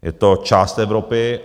Je to část Evropy.